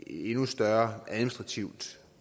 endnu større administrativt